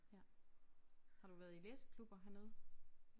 Ja. Har du været i læseklubber hernede?